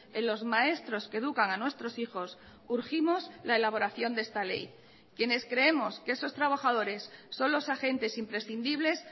en los maestros que educan a nuestros hijos urgimos la elaboración de esta ley quienes creemos que esos trabajadores son los agentes imprescindibles